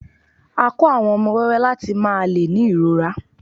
a ko àwọn ọmọ wẹwẹ lati máà le ni irọra